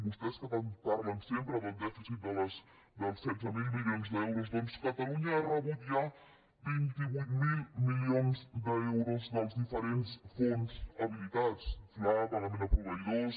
vostès que tant parlen sempre del dèficit dels setze mil milions d’euros doncs catalunya ha rebut ja vint vuit mil milions d’euros dels diferents fons habilitats fla pagament a proveïdors